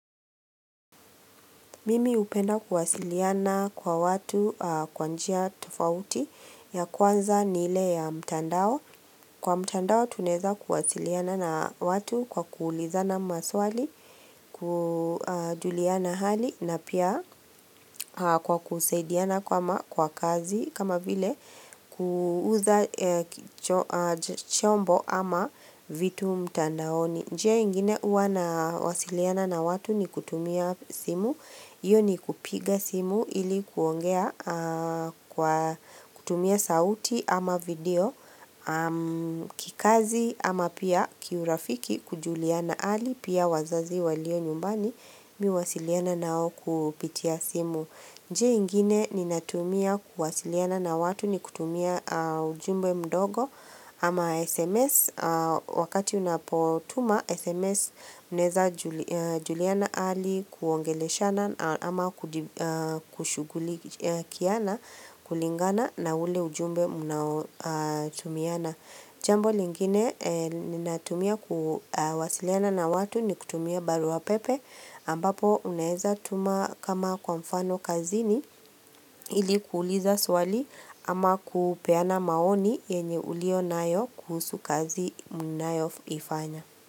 Mimi hupenda kuwasiliana kwa watu kwa njia tofauti ya kwanza ni ile ya mtandao. Kwa mtandao tunaeza kuwasiliana na watu kwa kuulizana maswali, kujuliana hali na pia kwa kusaidiana kwa kazi kama vile kuuza chombo ama vitu mtandaoni. Njia ingine uwa nawasiliana na watu ni kutumia simu, hiyo ni kupiga simu ili kuongea kwa kutumia sauti ama video, kikazi ama pia kiurafiki kujuliana ali, pia wazazi walio nyumbani mi huwasiliana nao kupitia simu. Njia ingine ninatumia kuwasiliana na watu ni kutumia ujumbe mdogo ama SMS wakati unapotuma SMS mnaeza juliana ali kuongeleshana ama kushugulikiana kulingana na ule ujumbe munaotumiana. Jambo lingine ninatumia kuwasiliana na watu ni kutumia barua pepe ambapo unaeza tuma kama kwa mfano kazini ili kuuliza swali ama kupeana maoni yenye ulio nayo kuhusu kazi mnayoifanya.